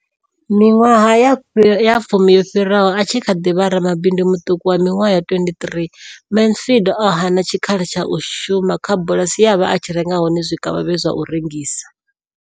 Miṅwaha ya fumi yo fhiraho, a tshi kha ḓi vha ramabindu muṱuku wa miṅwaha ya 23, Mansfield o hana tshikhala tsha u shuma kha bulasi ye a vha a tshi renga hone zwikavhavhe zwa u rengisa.